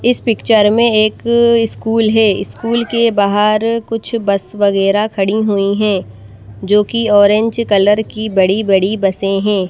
इस पिक्चर में एक अ इस्कूल है इस्कूल के बाहर कुछ बस वगैरह खड़ी हुई हैं जोकि ऑरेंज कलर की बड़ी बड़ी बसें हैं।